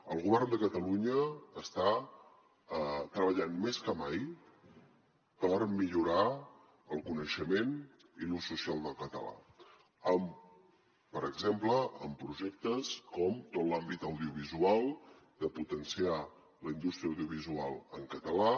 el govern de catalunya està treballant més que mai per millorar el coneixement i l’ús social del català per exemple en projectes com tot l’àmbit audiovisual de potenciar la indústria audiovisual en català